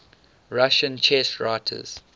russian chess writers